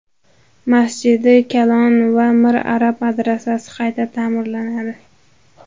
Masjidi Kalon va Mir Arab madrasasi qayta ta’mirlanadi.